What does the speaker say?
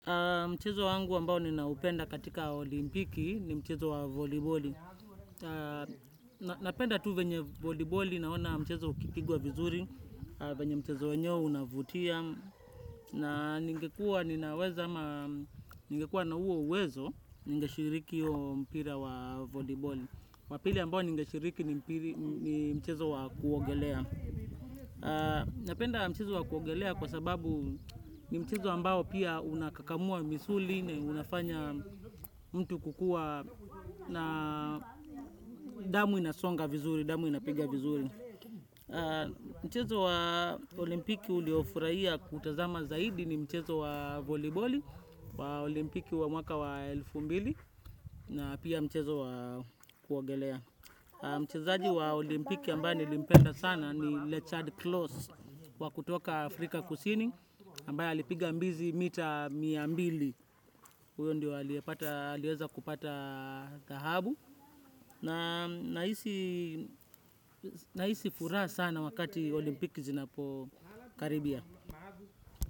Mchezo wangu ambao ninaupenda katika olimpiki ni mchezo wa voliboli. Napenda tu venye voliboli naona mchezo ukipigwa vizuri, venye mchezo wenyewe unavutia. Na ningekuwa ninaweza ama ningekuwa na huo uwezo ningeshiriki huo mpira wa voliboli. Wa pili ambao ningeshiriki ni mchezo wa kuogelea. Napenda mchezo wa kuogelea kwa sababu ni mchezo ambao pia unakakamua misuli na unafanya mtu kukuwa na damu inasonga vizuri, damu inapiga vizuri. Mchezo wa olimpiki uliofurahia kutazama zaidi ni mchezo wa voliboli wa olimpiki wa mwaka wa elfu mbili na pia mchezo wa kuogelea. Mchezaji wa olimpiki ambaye nilimpenda sana ni Lechard Klaus wa kutoka Afrika kusini ambaye alipiga mbizi mita mia mbili huyo ndiye aliwezakupata thababu na hii si nahisi furaha sana wakati olimpiki zinapokaribia.